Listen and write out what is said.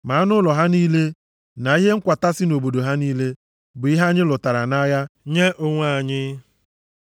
Ma anụ ụlọ ha niile, na ihe nkwata si nʼobodo ha niile, bụ ihe anyị lụtara nʼagha nye onwe anyị.